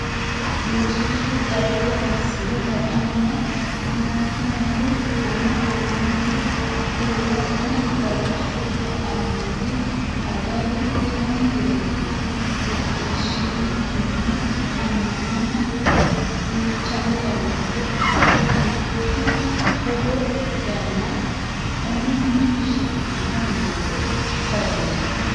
Diishshichu dhagge assi’re la”anna mittunku ama amanti huuro’ne galashshu ka”annoti, Agari, ani yeemmoti macciishshiishshinikinni ammanama duuchanka woyte ittinanniti togoo yaanno uminni shiqqino niwaawe sagaleeti?